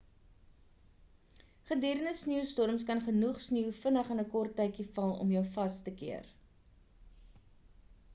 gedurende sneeustorms kan genoeg sneeu vinnig in 'n kort tydjie val om jou vas te keer